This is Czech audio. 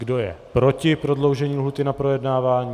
Kdo je proti prodloužení lhůty na projednávání?